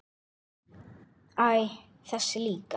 Æ, þessi líka